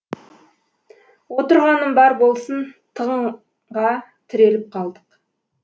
отырғаным бар болсын тығынға тіреліп қалдық